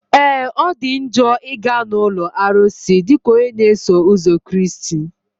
Ee! Ọ dị njọ ị ga na ụlọ arụsị dịka onye na-eso ụzọ Kraịst.